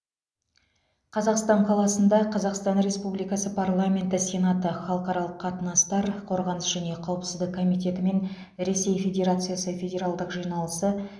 қазан қаласында қазақстан республикасы парламенті сенаты халықаралық қатынастар қорғаныс және қауіпсіздік комитеті мен ресей федерациясы федералдық жиналысы